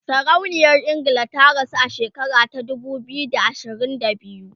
sarauniyar ingila ta rasu a shekara ta dubu biyu da ashirin da biyu